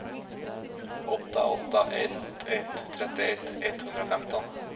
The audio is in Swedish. åtta åtta ett ett trettioett etthundrafemton